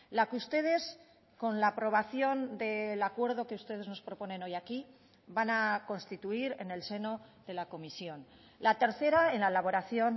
la que ustedes con la aprobación del acuerdo que ustedes nos proponen hoy aquí van a constituir en el seno de la comisión la tercera en la elaboración